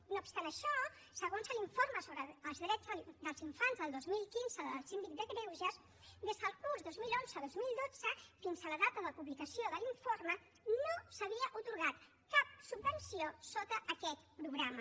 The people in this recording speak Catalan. no obstant això segons l’informe sobre els drets dels infants del dos mil quinze del síndic de greuges des del curs dos mil onze dos mil dotze fins a la data de publicació de l’informe no s’havia atorgat cap subvenció sota aquest programa